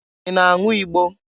I na-anwụ igbo?